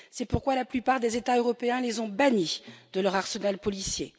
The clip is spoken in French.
C'est pourquoi la plupart des États européens les ont bannis de leur arsenal policier.